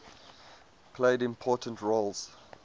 played important roles